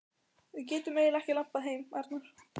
Við getum eiginlega ekki labbað heim, Arnar.